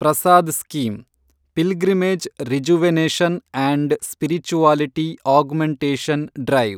Prasad scheme, pilgrimage rejuvenation and spirituality augmentation drive